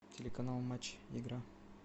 телеканал матч игра